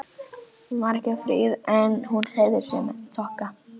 Hún var ekki fríð en hún hreyfði sig með þokka.